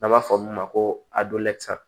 N'an b'a fɔ olu ma ko